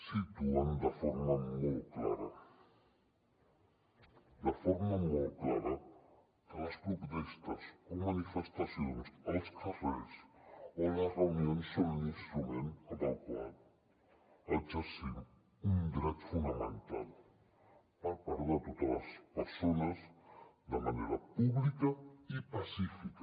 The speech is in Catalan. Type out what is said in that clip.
situen de forma molt clara de forma molt clara que les protestes o manifestacions als carrers o les reunions són un instrument amb el qual exercim un dret fonamental per part de totes les persones de manera pública i pacífica